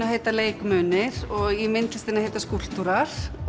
heita leikmunir og í myndlistinni heita skúlptúrar